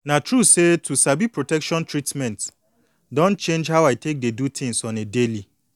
na true say to sabi protection treatment don change how i take dey do things on a daily